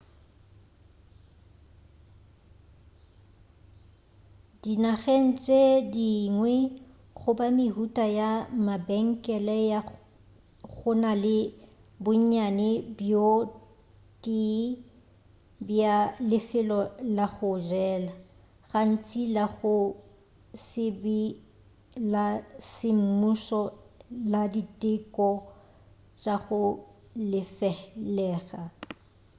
dinageng tše dingwe goba mehuta ya mabenkele go na le bonnyane bjo tee bja lefelo la go jela gantši la go se be la semmušo la diteko tša go lefelega